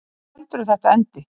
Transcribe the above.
Hvar heldurðu þetta endi?